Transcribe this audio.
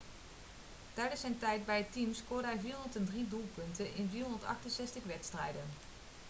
tijdens zijn tijd bij het team scoorde hij 403 doelpunten in 468 wedstrijden